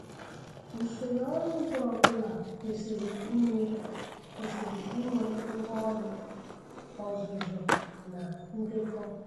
Usoro ọrụ ugbo ọ bụla kwesiri inwe kwesiri inwe ngwaọrụ, ọzụzụ na ndekọ.